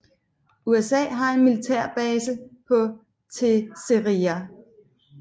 USA har en militærbase på Terceira